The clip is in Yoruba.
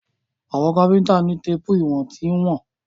Àwọn Káfíntà ni téèpù ìwọ̀n tí wọ́n.